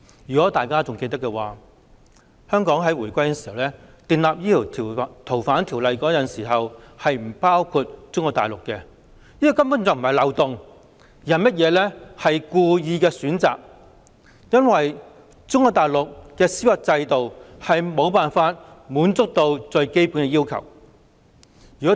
如果大家還記得的話，香港回歸時訂立《逃犯條例》，適用的司法管轄區並不包括中國內地，這根本不是漏洞而是故意的選擇，因為中國內地的司法制度未能達到最基本要求。